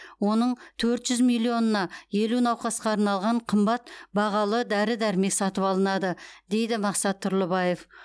оның төрт жүз миллионына елу науқасқа арналған қымбат бағалы дәрі дәрмек сатып алынады дейді мақсат тұрлыбаев